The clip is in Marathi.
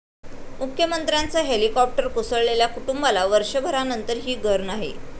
मुख्यमंत्र्यांचं हेलिकॉप्टर कोसळलेल्या कुटूंबाला वर्षभरानंतरही घर नाही!